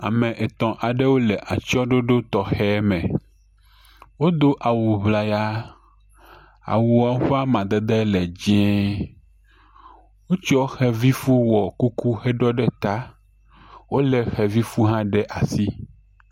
Ame etɔ̃ aɖewo le atysɔɖoɖo tɔxɛ aɖe me, wodo awu ŋlaya, awuɔ ƒe amadede le dzee. Wotsɔ xevi fu wɔ kuku heɖɔ ɖe etaa, wolé xevi fu hã ɖe asi.